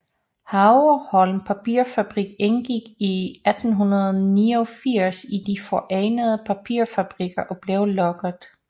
Havreholm Papirfabrik indgik i 1889 i De forenede Papirfabrikker og blev lukket